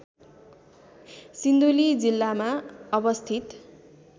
सिन्धुली जिल्लामा अवस्थित